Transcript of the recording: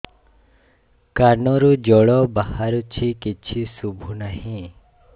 କାନରୁ ଜଳ ବାହାରୁଛି କିଛି ଶୁଭୁ ନାହିଁ